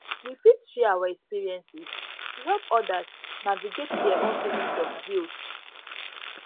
we fit share we fit share our experiences to help others navigate their own feelings of guilt